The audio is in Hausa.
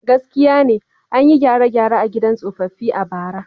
Gaskiya ne, an yi gyare-gyare a gidan tsofaffi a bara.